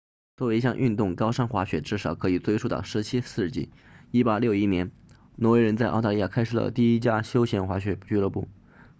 作为一项运动高山滑雪至少可以追溯到17世纪1861年挪威人在澳大利亚开设了第一家休闲滑雪俱乐部